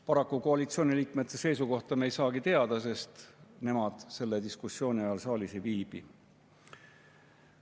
Paraku koalitsiooniliikmete seisukohta me ei saagi teada, sest nemad selle diskussiooni ajal saalis ei viibi.